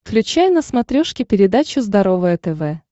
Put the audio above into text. включай на смотрешке передачу здоровое тв